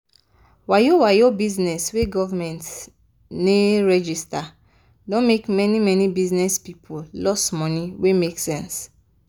wayo-wayo bizness wey govment ne register don make many-many bizness people loss money wey make sense.